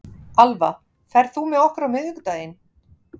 Alva, ferð þú með okkur á miðvikudaginn?